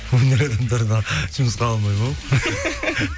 өнер адамдардан жұмысқа алмаймын ау